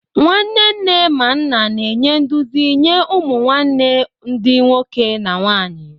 Nwanne nne ma nna na-enye nduzi nye ụmụ nwanne ndi nwoke na nwanyi.